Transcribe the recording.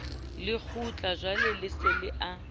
le lekgutlajwale o se a